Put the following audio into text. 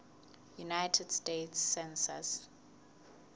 united states census